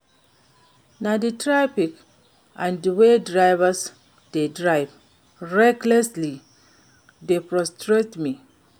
Na di traffic and di way drivers dey drive recklessly dey frustrate me.